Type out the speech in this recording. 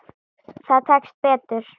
Það tekst betur.